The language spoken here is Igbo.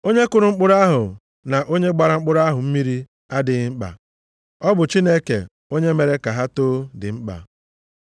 Onye kụrụ mkpụrụ ahụ na onye gbara mkpụrụ ahụ mmiri adịghị mkpa. Ọ bụ Chineke onye mere ka ha too dị mkpa.